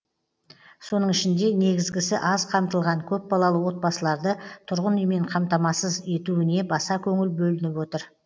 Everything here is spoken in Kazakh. соның ішінде негізгісі аз қамтылған көпбалалы отбасыларды тұрғын үймен қамтамасу етуіне баса көңіл бөлініп отыр